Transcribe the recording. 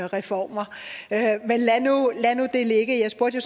reformer men lad nu det ligge jeg spurgte jo